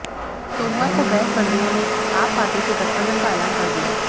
सोमवार को बैंस बंधुओं ने आप पार्टी से गठबंधन का ऐलान कर दिया